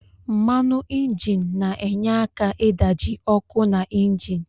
Mmanu injin na enye aka idaji okụ na injin.